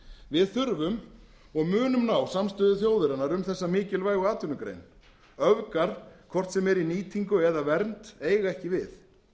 við þurfum og munum ná samstöðu þjóðarinnar um þessa mikilvægu atvinnugrein öfgar hvort sem er í nýtingu eða vernd eiga ekki við